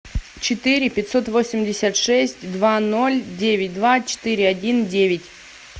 четыре пятьсот восемьдесят шесть два ноль девять два четыре один девять